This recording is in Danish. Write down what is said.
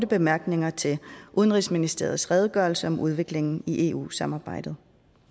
bemærkninger til udenrigsministerens redegørelse om udviklingen i eu samarbejdet